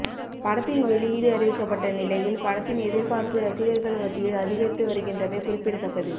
படத்தின் வெளியிடு அறிவிக்கப்பட்ட நிலையில் படத்தின் எதிர்பார்ப்பு ரசிகர்கள் மத்தியில் அதிகரித்து வருகின்றமை குறிப்பிடத்தக்கது